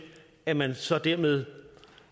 at man så dermed